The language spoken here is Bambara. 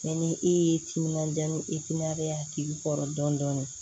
ni e ye timinandiya ni ya k'i kɔrɔ dɔɔnin dɔɔnin